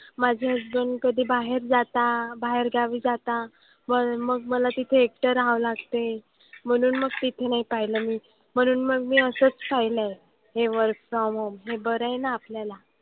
माझे कधी बाहेर जाता बाहेरगावी जाता. पण मग मला तिथं एकटं राहावं लागते. म्हणून मग तिथे नाही पाहिलं मी. म्हणून मग मी असंच पाहिलं. हे work from home. हे बरं आहे ना आपल्याला.